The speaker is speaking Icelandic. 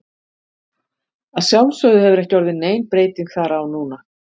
Að sjálfsögðu hefur ekki orðið nein breyting þar á núna.